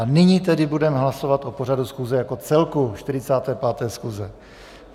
A nyní tedy budeme hlasovat o pořadu schůze jako celku 45. schůze.